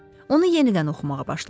Onu yenidən oxumağa başladı.